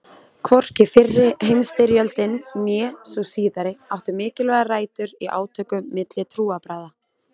Hvorki fyrri heimstyrjöldin né sú síðari áttu mikilvægar rætur í átökum milli trúarbragða.